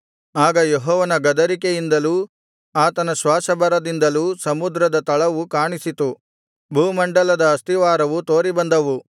ಆಗ ಯೆಹೋವನ ಗದರಿಕೆಯಿಂದಲೂ ಆತನ ಶ್ವಾಸಭರದಿಂದಲೂ ಸಮುದ್ರದ ತಳವು ಕಾಣಿಸಿತು ಭೂಮಂಡಲದ ಅಸ್ಥಿವಾರವು ತೋರಿಬಂದವು